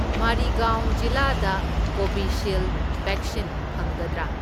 ꯃꯔꯤꯒꯥꯎꯟ ꯖꯤꯂꯥꯗ ꯀꯣꯚꯤꯁꯤꯜꯗ ꯕꯦꯛꯁꯤꯟ ꯐꯪꯒꯗ꯭ꯔꯥ?